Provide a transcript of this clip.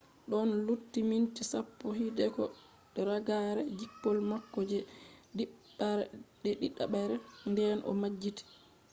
ɗon lutti minti sappo hideko ragare jippol mako je ɗiɗaɓre nden o majjiti